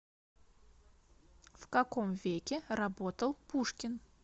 в каком веке работал пушкин